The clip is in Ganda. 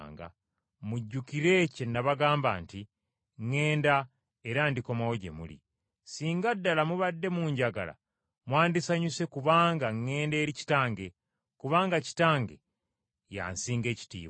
“Mujjukire kye n’abagamba nti ŋŋenda era ndikomawo gye muli. Singa ddala mubadde munjagala mwandisanyuse kubanga ŋŋenda eri Kitange, kubanga Kitange y’ansinga ekitiibwa.